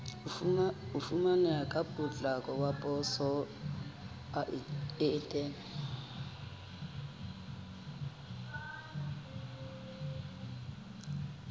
e fumaneha ka potlako weposaeteng